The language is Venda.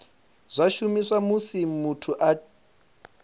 zwa shumiswa musi muthu a